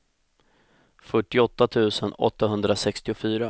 fyrtioåtta tusen åttahundrasextiofyra